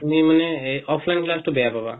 তুমি মানে সেই offline class টো বেয়া পাবা